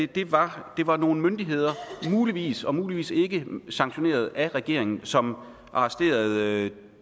det var det var nogle myndigheder muligvis muligvis ikke sanktioneret af regeringen som arresterede